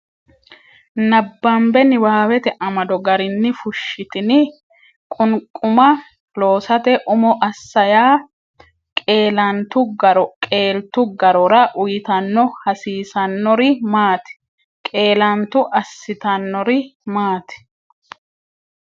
nabbambe niwaawete amado garinni Fushshitini? Qunquma loosate umo assa yaa, qeelantu garo qeeltu garora uytanno hasiisannori maati? Qeelantu assitannori maati?